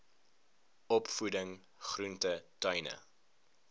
opvoeding groente tuine